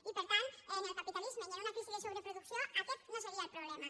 i per tant en el capitalisme i en una crisi de sobreproducció aquest no seria el problema